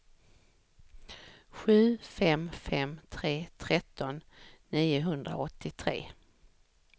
sju fem fem tre tretton niohundraåttiotre